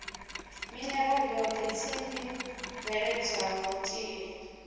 minerala yothe tsimbi bveledzwaho tie